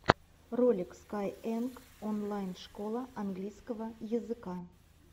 ролик скайэнг онлайн школа английского языка